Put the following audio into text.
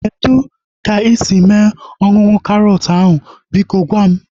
Kedụ ka isi mee ihe ọṅụṅụ karọt ahu? Biko gwa m